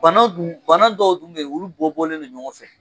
Bana dun, bana dɔw dun bɛ yen olu bɔ bɔlen bɛ ɲɔgɔn fɛ.